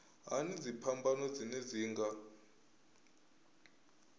hani dziphambano dzine dzi nga